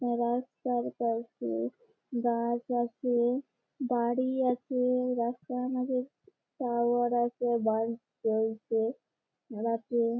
রাস্তার পাশে গাছ আছে বাড়ি আছে রাস্তার মধ্যে টাওয়ার আছে বাস চলছে রাতে।